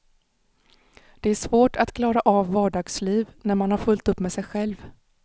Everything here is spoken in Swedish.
Det är svårt att klara av vardagsliv när man har fullt upp med sig själv.